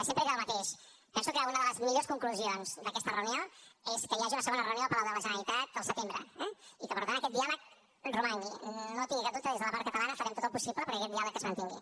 sempre he dit el mateix penso que una de les millors conclusions d’aquesta reunió és que hi hagi una segona reunió al palau de la generalitat al setembre eh i que per tant aquest diàleg romangui no tingui cap dubte des de la part catalana farem tot el possible perquè aquest diàleg es mantingui